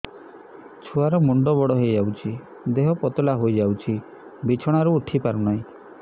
ଛୁଆ ର ମୁଣ୍ଡ ବଡ ହୋଇଯାଉଛି ଦେହ ପତଳା ହୋଇଯାଉଛି ବିଛଣାରୁ ଉଠି ପାରୁନାହିଁ